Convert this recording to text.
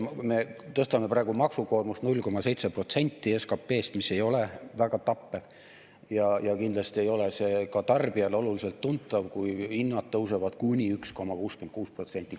Me tõstame praegu maksukoormust 0,7% SKT‑st, mis ei ole väga tappev, ja kindlasti ei ole see ka tarbijale oluliselt tuntav, kui hinnad tõusevad kuni 1,66%.